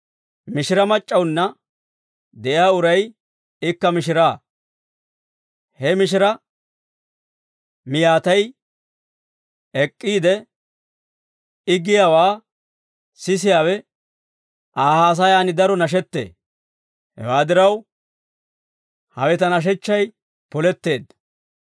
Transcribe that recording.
Mishira mac'c'awunna de'iyaa uray ikka mishiraa; he mishiraa miyaatay ek'k'iide, I giyaawaa sisiyaawe Aa haasayaan daro nashettee. Hewaa diraw, hawe ta nashechchay poletteedda.